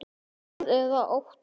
Hvað er að óttast?